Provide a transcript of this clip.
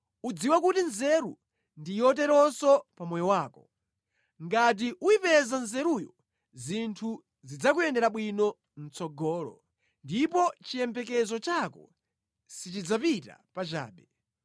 Udziwe kuti nzeru ndi yoteronso pa moyo wako; ngati uyipeza nzeruyo, zinthu zidzakuyendera bwino mʼtsogolo, ndipo chiyembekezo chako sichidzapita pachabe.